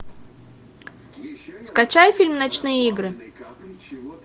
скачай фильм ночные игры